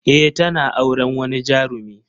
Eh tana auren wani jarumi.